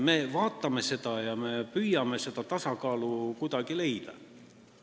Me püüame kuidagi seda tasakaalu leida.